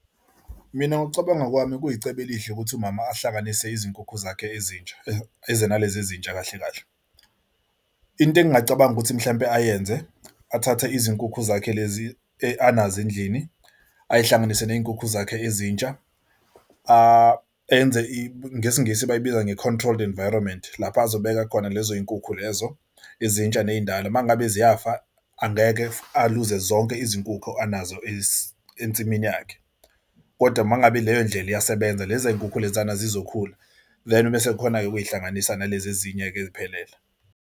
Mina, ngokucabanga kwami, kuyicebo elihle ukuthi umama ahlanganise izinkukhu zakhe ezintsha eze nalezi ezintsha kahle kahle. Into engingacabanga ukuthi mhlawumbe ayenze athathe izinkukhu zakhe lezi anazo endlini, ayihlanganise ney'nkukhu zakhe ezintsha. Enze ngesingisi bayibiza nge-controlled environment. Lapha azobeka khona lezo zinkukhu lezo ezintsha nezindala uma ngabe ziyafa angeke aluze zonke izinkukhu anazo ensimini yakhe kodwa uma ngabe leyo ndlela iyasebenza lezi nkukhu lenzani zizokhula vele mese khona ukuyihlanganisa nalezi ezinye-ke eziphelele.